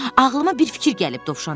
Ağlıma bir fikir gəlib, Dovşan dedi.